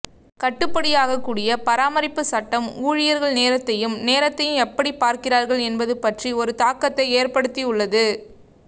கட்டுப்படியாகக்கூடிய பராமரிப்பு சட்டம் ஊழியர்கள் நேரத்தையும் நேரத்தையும் எப்படிப் பார்க்கிறார்கள் என்பது பற்றி ஒரு தாக்கத்தை ஏற்படுத்தியுள்ளது